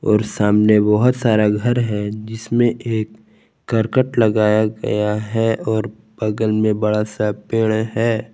और सामने बहुत सारा घर है जिसमें एक करकट लगाया गया है और बगल में बड़ा सा पेड़ है।